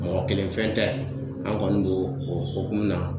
Mɔgɔ kelen fɛn tɛ an kɔni bo o o hukumu na.